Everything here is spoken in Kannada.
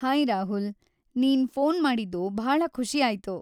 ಹಾಯ್‌ ರಾಹುಲ್!‌ ನೀನ್‌ ಫೋನ್‌ ಮಾಡಿದ್ದು ಭಾಳ ಖುಷಿಯಾಯ್ತು.